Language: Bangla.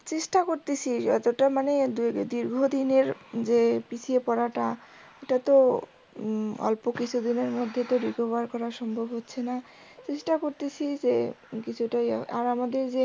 চেষ্টা করতাসি যতটা মানে দীর্ঘদিনের যে পিছিয়ে পড়াটা এটা তো অল্প কিছুদিনের মধ্যে তো recover করা সম্ভব হচ্ছে না। চেষ্টা করতেসি যে কিছুটা ইয়ে, আর আমাদের যে